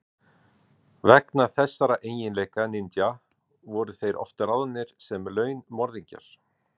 Vegna þessara eiginleika ninja voru þeir oft ráðnir sem launmorðingjar.